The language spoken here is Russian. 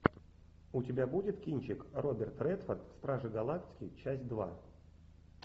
у тебя будет кинчик роберт редфорд стражи галактики часть два